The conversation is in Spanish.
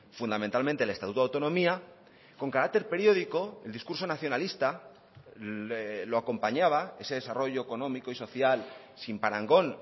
fundamentalmente el estatuto de autonomía con carácter periódico el discurso nacionalista lo acompañaba ese desarrollo económico y social sin parangón